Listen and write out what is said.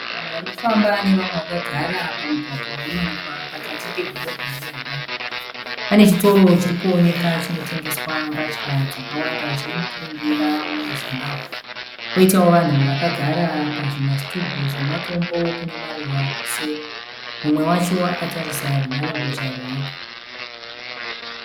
Vanhu varikufamba nevamwe vakagara pamugwagwa unowanikwa pakati pedhorobha reHarare, pane chitoro chiri kuoneka chinotengeswa mbatya dzakawanda chine mukurumbira muZimbabwe koitawo vanhu vakagara pazvimasitubhu zvematombo kune maruva kuseri, mumwe wacho akatarisa runhare mbozha rwake.